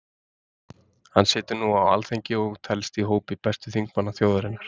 Hann situr nú á Alþingi og telst í hópi bestu þingmanna þjóðarinnar.